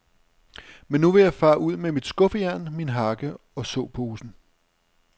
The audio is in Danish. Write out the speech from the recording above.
Men nu vil jeg fare ud med mit skuffejern, min hakke og såposen.